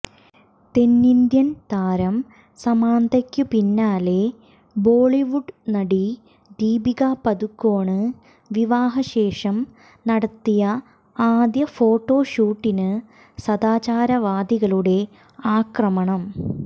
തെന്നിന്ത്യന് താരം സാമന്തക്ക് പിന്നാലെ ബോളിവുഡ് നടി ദീപിക പദുക്കോണ് വിവാഹശേഷം നടത്തിയ ആദ്യ ഫോട്ടോഷൂട്ടിന് സദാചാരവാദികളുടെ ആക്രമണം